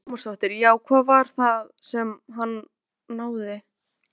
Lára Ómarsdóttir: Já, hvað var það sem að hann náði?